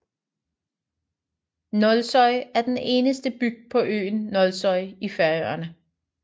Nólsoy er den eneste bygd på øen Nólsoy i Færøerne